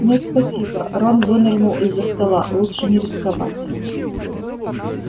нет спасибо рон вынырнул из-за стола лучше не рисковать